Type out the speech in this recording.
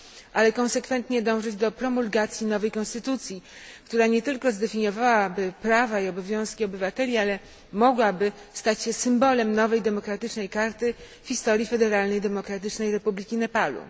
ale konsekwentnie dążyć do promulgacji nowej konstytucji, która nie tylko zdefiniowałaby prawa i obowiązki obywateli, ale mogłaby stać się symbolem nowej demokratycznej karty w historii federalnej Demokratycznej Republiki Nepalu.